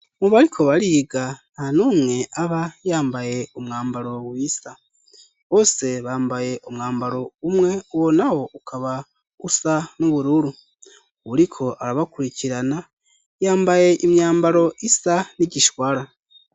Mu bariko bariga nta numwe aba yambaye umwambaro wisa. Bose bambaye umwambaro umwe, uwo nawo ukaba usa n'ubururu. Uwuriko arabakurikirana, yambaye imyambaro isa n'igishwara.